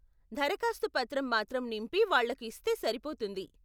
దరఖాస్తు పత్రం మాత్రం నింపి వాళ్ళకి ఇస్తే సరిపోతుంది.